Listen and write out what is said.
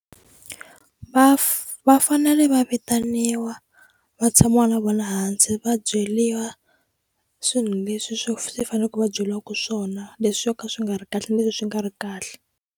Va va fanele va vitaniwa va tshamiwa na vona hansi va byeliwa swilo leswi swi faneleke va byeliwaku swona leswi swo ka swi nga ri kahle na leswi swi nga ri kahle.